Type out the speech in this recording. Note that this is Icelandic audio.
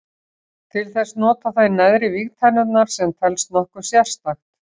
Til þess nota þeir neðri vígtennurnar sem telst nokkuð sérstakt.